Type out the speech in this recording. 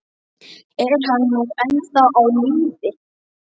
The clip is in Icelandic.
Er hann nú ennþá á lífi?